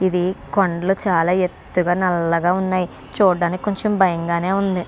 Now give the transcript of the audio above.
ఇది కొండలు చాలా ఎత్తుగా నల్లగా ఉన్నాయి. చూడ్డానికి కొంచెం భయంగానే ఉంది.